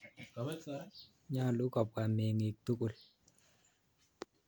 Nyalu kopwa meng'ik tukul.